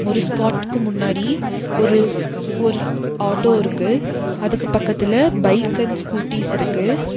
ஒரு ஸ்பாட்டுக்கு முன்னாடி ஒரு ஸ் ஒரு ஆட்டோ இருக்கு. அதுக்கு பக்கத்துல பைக் அண்ட் ஸ்கூட்டிஸ் இருக்கு.